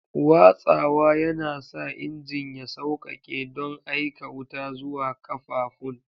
Watsawa yana sa injin ya sauƙaƙe don aika wuta zuwa ƙafafun.